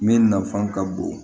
Min nafan ka bon